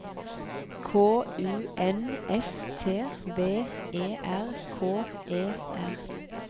K U N S T V E R K E R